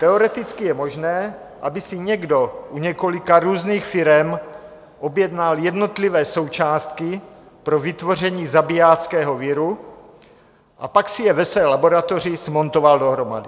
Teoreticky je možné, aby si někdo u několika různých firem objednal jednotlivé součástky pro vytvoření zabijáckého viru a pak si je ve své laboratoři smontoval dohromady.